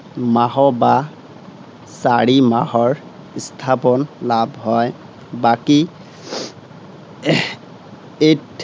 মাহ বা চাৰি মাহৰ, সংস্থাপন লাভ হয়। বাকী eight